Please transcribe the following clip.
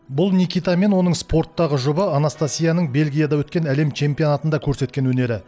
бұл никита мен оның спорттағы жұбы анастасияның бельгияда өткен әлем чемпионатында көрсеткен өнері